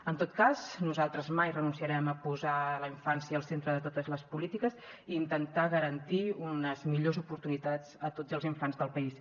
en tot cas nosaltres mai renunciarem a posar la infància al centre de totes les polítiques i intentar garantir unes millors oportunitats a tots els infants del país